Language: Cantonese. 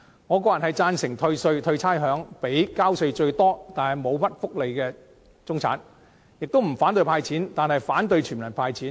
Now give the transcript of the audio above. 我個人贊成退稅、退差餉予交稅最多卻沒有享受很多福利的中產，我亦不反對"派錢"，但卻反對全民"派錢"。